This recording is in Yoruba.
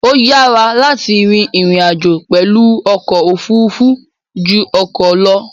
Ó yára láti rin ìrìn-àjò pẹ̀lú ọkọ̀ òfurufú ju ọkọ̀ lọ.